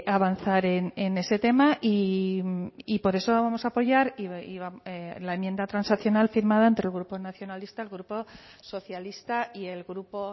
avanzar en ese tema y por eso vamos a apoyar la enmienda transaccional firmada entre el grupo nacionalista el grupo socialista y el grupo